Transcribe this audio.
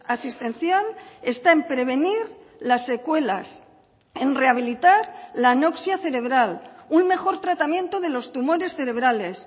asistencial está en prevenir las secuelas en rehabilitar la anoxia cerebral un mejor tratamiento de los tumores cerebrales